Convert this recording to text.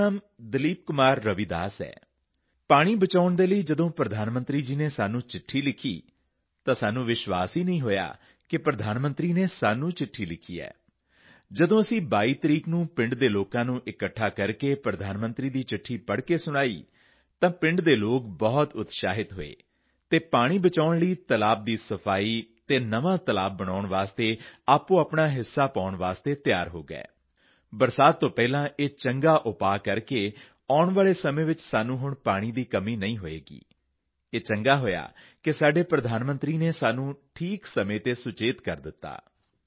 ਮੇਰਾ ਨਾਂ ਦਲੀਪ ਕੁਮਾਰ ਰਵਿਦਾਸ ਹੈ ਪਾਣੀ ਬਚਾਉਣ ਦੇ ਲਈ ਜਦੋਂ ਪ੍ਰਧਾਨ ਮੰਤਰੀ ਜੀ ਨੇ ਸਾਨੂੰ ਚਿੱਠੀ ਲਿਖੀ ਤਾਂ ਸਾਨੂੰ ਵਿਸ਼ਵਾਸ ਹੀ ਨਹੀਂ ਹੋਇਆ ਕਿ ਪ੍ਰਧਾਨ ਮੰਤਰੀ ਨੇ ਸਾਨੂੰ ਚਿੱਠੀ ਲਿਖੀ ਹੈ ਜਦੋਂ ਅਸੀਂ 22 ਤਾਰੀਖ ਨੂੰ ਪਿੰਡ ਦੇ ਲੋਕਾਂ ਨੂੰ ਇਕੱਠਾ ਕਰਕੇ ਪ੍ਰਧਾਨ ਮੰਤਰੀ ਦੀ ਚਿੱਠੀ ਪੜ੍ਹ ਕੇ ਸੁਣਾਈ ਤਾਂ ਪਿੰਡ ਦੇ ਲੋਕ ਬਹੁਤ ਉਤਸ਼ਾਹਿਤ ਹੋਏ ਅਤੇ ਪਾਣੀ ਬਚਾਉਣ ਲਈ ਤਲਾਬ ਦੀ ਸਫਾਈ ਅਤੇ ਨਵਾਂ ਤਲਾਬ ਬਣਾਉਣ ਲਈ ਆਪਣੀਆਪਣੀ ਭਾਗੀਦਾਰੀ ਨਿਭਾਉਣ ਦੇ ਲਈ ਤਿਆਰ ਹੋ ਗਏ ਬਰਸਾਤ ਤੋਂ ਪਹਿਲਾਂ ਇਹ ਉਪਾਅ ਕਰਕੇ ਆਉਣ ਵਾਲੇ ਸਮੇਂ ਵਿੱਚ ਸਾਨੂੰ ਪਾਣੀ ਦੀ ਕਮੀ ਨਹੀਂ ਹੋਵੇਗੀ ਇਹ ਚੰਗਾ ਹੋਇਆ ਕਿ ਸਾਡੇ ਪ੍ਰਧਾਨ ਮੰਤਰੀ ਨੇ ਸਾਨੂੰ ਠੀਕ ਸਮੇਂ ਤੇ ਸੁਚੇਤ ਕਰ ਦਿੱਤਾ